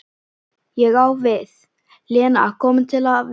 Ég á við, Lena komin til að vera?